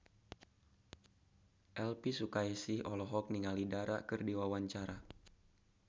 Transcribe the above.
Elvy Sukaesih olohok ningali Dara keur diwawancara